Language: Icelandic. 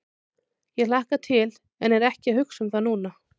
Ég hlakka til en er ekki að hugsa um það núna.